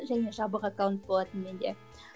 және жабық аккаунт болатын менде